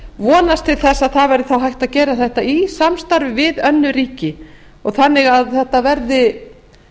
vonast til þess að hægt verði að gera þetta í samstarfi við önnur ríki þannig að þetta verði